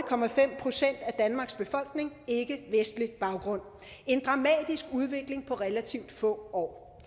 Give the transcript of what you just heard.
procent af danmarks befolkning ikkevestlig baggrund en dramatisk udvikling på relativt få år